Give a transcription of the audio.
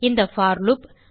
இந்த for loop